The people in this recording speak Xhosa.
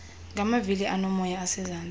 ngamavili aonomoya osezantsi